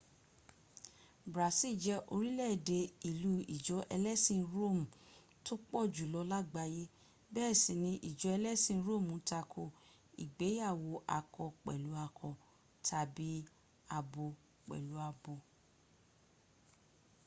brazil jẹ orílẹ̀-èdè ìlú ìjọ ẹlẹ́sin róòmù tó pọ̀jù lọ làgbáyé bẹ́ẹ̀ sì ní ìjọ ẹlẹ́sìn róòmù tako ìgbéyàwó akọ pẹ̀lú akọ tàbí abo pẹ̀lú abo